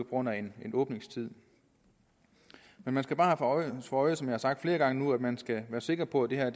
grund af en åbningstid men man skal bare have for øje som jeg har sagt flere gange nu at man skal være sikker på at det her